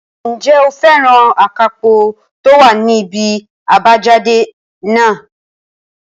Ǹjẹ́ o fẹ́ràn akápò tó wà ní ibi àbájáde náà?